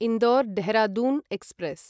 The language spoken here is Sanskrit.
इन्दोर् ढेहराढून एक्स्प्रेस्